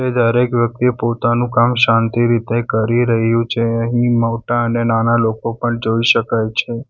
દરેક વ્યક્તિ પોતાનું કામ શાંતિ રીતે કરી રહ્યું છે અહીં મોટા અને નાના લોકો પણ જોઈ શકાય છે.